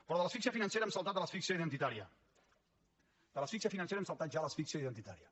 però de l’asfíxia financera hem saltat a l’asfíxia identitària de l’asfíxia financera hem saltat ja a l’asfíxia identitària